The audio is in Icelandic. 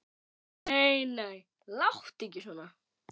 Nei, nei, láttu ekki svona.